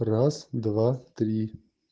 раз два три